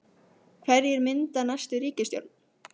Hverjir mynda næstu ríkisstjórn?